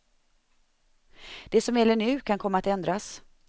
Det som gäller nu kan komma att ändras.